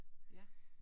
Ja